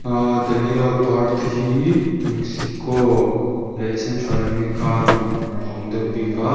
aa dahlia par te hi mexico leh central america ramah a awm deuh bik a.